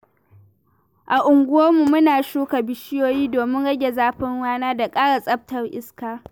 A unguwarmu, muna shuka bishiyoyi domin rage zafin rana da ƙara tsaftar iska.